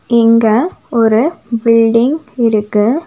இங்க ஒரு பில்டிங் இருக்கு.